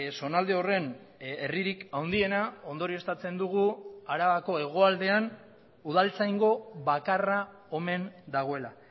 zonalde horren herririk handiena ondorioztatzen dugu arabako hegoaldean udaltzaingo bakarra omen dagoela